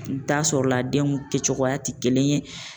I bi taa sɔrɔla denw kɛcogoya ti kelen ye